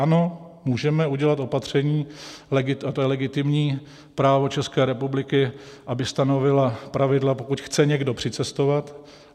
Ano, můžeme udělat opatření, a to je legitimní právo České republiky, aby stanovila pravidla, pokud chce někdo přicestovat.